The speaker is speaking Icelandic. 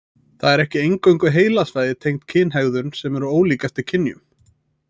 Það eru ekki eingöngu heilasvæði tengd kynhegðun sem eru ólík eftir kynjum.